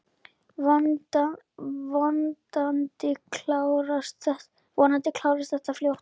Vonandi klárast þetta fljótt.